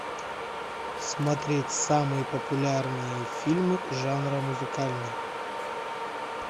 смотреть самые популярные фильмы жанра музыкальный